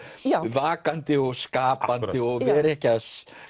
vakandi og skapandi og vera ekki að